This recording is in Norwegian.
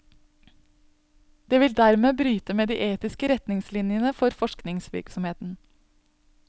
Det vil dermed bryte med de etiske retningslinjene for forskningsvirksomheten.